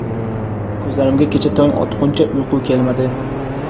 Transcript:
Ko‘zlarimga kecha tong otquncha uyqu kelmadi.